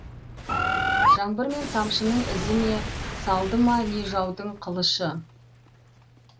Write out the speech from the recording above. жаңбыр мен тамшының ізі ме салды ма не жаудың қылышы